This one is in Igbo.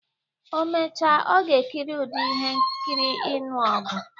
O mecha, ọ ga-ekiri ụdị ihe nkiri ịnụ ọgụ.